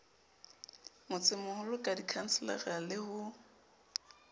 motsemoholo ka dikhanselara le ho